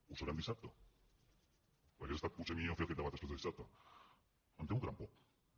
ho sabrem dissabte hauria estat potser millor fer aquest debat després de dissabte em temo que tampoc